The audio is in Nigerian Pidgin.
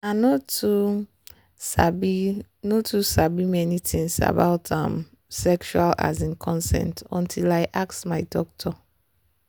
i no too sabi no too sabi many things about um sexual um consent until i ask my doctor.